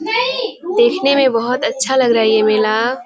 देखने में बहुत अच्छा लग रहा है ये विला ।